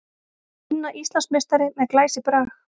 Tinna Íslandsmeistari með glæsibrag